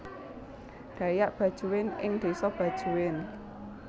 Dayak Bajuin ing desa Bajuin